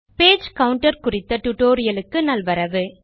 page counter குறித்த டுடோரியலுக்கு நல்வரவு